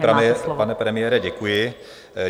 Vážený pane premiére, děkuji.